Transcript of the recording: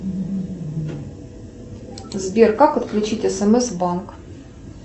сбер как отключить смс банк